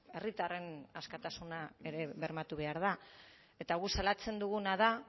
herritarren askatasuna ere bermatu behar da eta guk salatzen duguna da